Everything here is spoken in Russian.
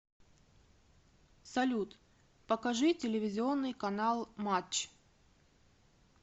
салют покажи телевизионный канал матч